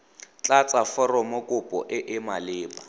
tlatsa foromokopo e e maleba